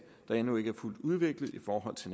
der endnu ikke er fuldt udviklet i forhold til